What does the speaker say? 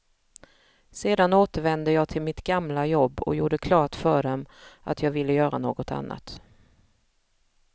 Sedan återvände jag till mitt gamla jobb och gjorde klart för dem att jag ville göra något annat.